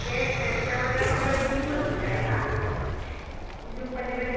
gang এই দুটামানে আমাৰ ঝোম আছিলে আৰু হা । ঝোম পাতি পাতি